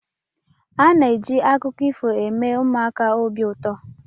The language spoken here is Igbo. A na-eji akụkọ ifo eme ụmụaka obi ụtọ.